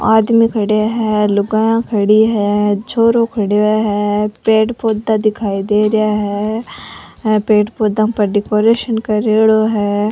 आदमी खड्या है लुगाईया खड़ी है छोरो खड्यो है पेड़ पौधे दिखाई दे रेहा है ये पेड़ पौधा पर डेकोरेशन करेडो है।